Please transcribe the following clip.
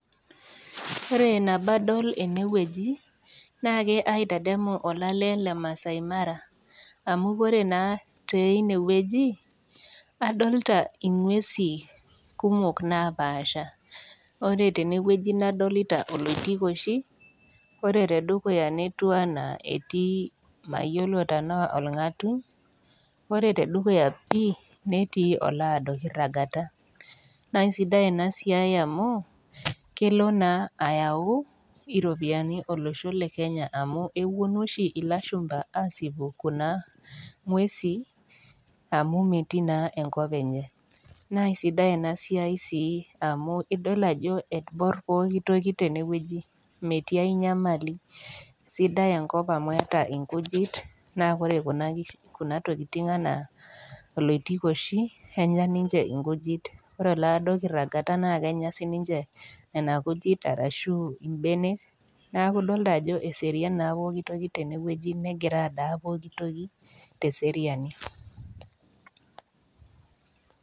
Ore nabo adol ene wueji naake ademu olale le Maasai mara amu Kore naa teine wueji, adolita inguesi kumok napaasha, ore tene wueji nadolita oloitikoshi, ore te dukuya netiu anaa etii mayiolo tanaa olg'atuny, ore te dukuya pii netii olaado kiragata, naisidai ena siai amu, kelo naa ayau iropiani olosho le Kenya amu epuonu oshi ilashumba aasipu Kuna ng'uesi, amu metii naa enkop enye, naa sidai ena siai sii amu idol ajo ebor pooki toki tenewueji, metii ai nyamali, sidai enkop amu keata inkujit, naa ore Kuna tokitin anaa oloitikoshi enye ninche inkujit, ore olaado kiragata naa Kenya sinye Nena kujit arashu imbenek, neaku idolita ajo eseriani naa pooki toki tene wueji negira adaa pooki toki te eseriani.